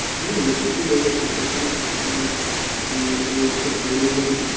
হ্যা অবশ্যই দেখবো কেনো দেখবো না টাকার ভালো mobile